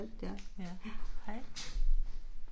Ja, hej